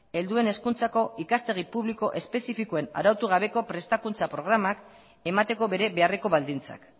helduen hezkuntzako ikastegi publiko espezifikoen arautu gabeko prestakuntza programak emateko bere beharreko baldintzak